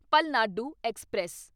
Palnadu express